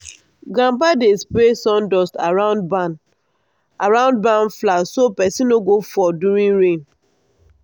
grandpa dey spray sawdust around barn around barn floor so person no go fall during rain.